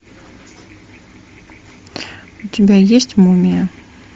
у тебя есть мумия